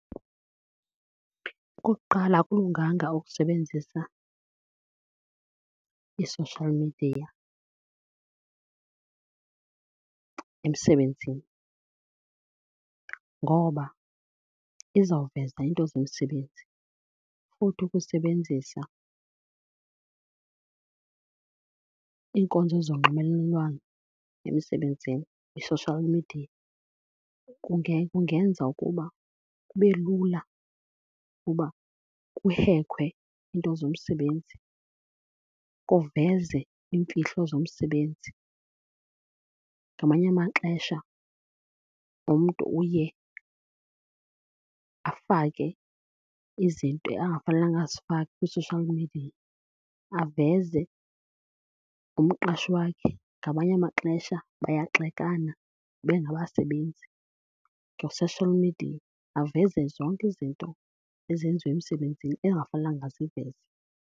Okokuqala, akulunganga ukusebenzisa i-social media emsebenzini ngoba izawuveza iinto zomsebenzi. Futhi ukusebenzisa iinkonzo zonxibelelwano emisebenzini, i-social media, kungenza ukuba kube lula uba kuhekwe iinto zomsebenzi, kuveze iimfihlo zomsebenzi. Ngamanye amaxesha lo mntu uye afake izinto angafanelanga azifake kwi-social media, aveze nomqashi wakhe. Ngamanye amaxesha bayagxekana bengabasebenzi nge-social media, baveze zonke izinto ezenziwa emsebenzini engafanelekanga aziveze.